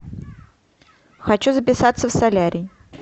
хочу записаться в солярий